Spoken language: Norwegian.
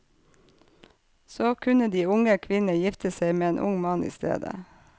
Så kunne de unge kvinnene gifte seg med en ung mann i stedet.